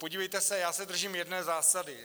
Podívejte se, já se držím jedné zásady.